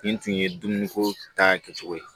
Nin tun ye dumuni ko ta kɛcogo ye